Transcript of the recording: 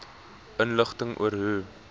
inligting oor hoe